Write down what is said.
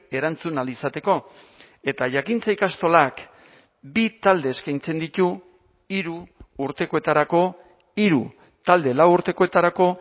erantzun ahal izateko eta jakintza ikastolak bi talde eskaintzen ditu hiru urtekoetarako hiru talde lau urtekoetarako